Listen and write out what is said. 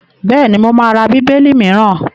Bẹ́ẹ̀ni, mo má ra Bíbélì mìíràn.